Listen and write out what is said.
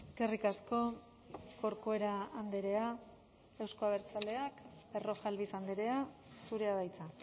eskerrik asko corcuera andrea euzko abertzaleak berrojalbiz andrea zurea da hitza